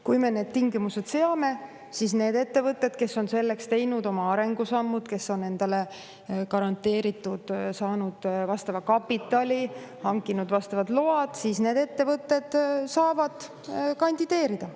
Kui me need tingimused seame, siis need ettevõtted, kes on selleks teinud oma arengusammud, kes on endale garanteeritult saanud vastava kapitali, hankinud vastavad load, saavad kandideerida.